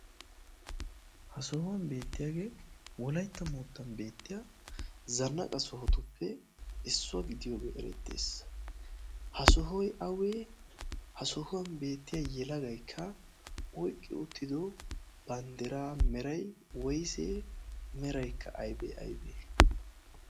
ha sohuwan beettiyaagee wolaitta moottan beettiya zannaqa sohotuppe issuwaa gidiyoogee erettees ha sohoi awee ha sohuwan beettiya yelagaikka oiqqi oottido banddiraa merai woisee meraikka aibee aibee